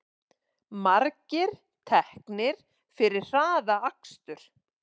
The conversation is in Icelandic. Margir teknir fyrir hraðakstur